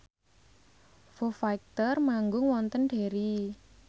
Foo Fighter manggung wonten Derry